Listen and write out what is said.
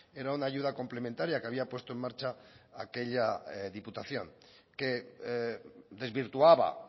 era una ayuda complementaria que había puesto en marcha aquella diputación que desvirtuaba